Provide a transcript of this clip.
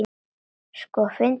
Sko, finndu mig.